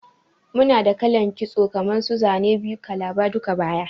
Muna da kalan kitso kaman su Zane biyu, kalaba, duka-baya,